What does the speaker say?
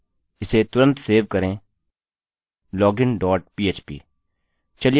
इसे तुरंत सेव करें login dot php